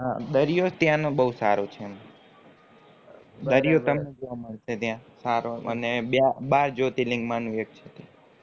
દરિયો ત્યાનો બૌ સારો છે દરિયો તમને જોવા માં આવશે ત્યાં અને બાર જ્યોતિર્લીંગ માનું એક છે ત્યાં